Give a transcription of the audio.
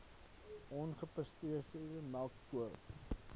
ongepasteuriseerde melk gekook